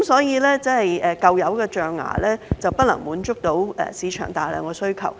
因此，舊有的象牙已經不能滿足市場的龐大需求。